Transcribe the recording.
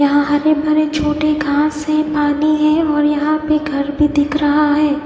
यहा हरे भरे छोटे घास है पानि है और यहा घर भी दिख रहा है।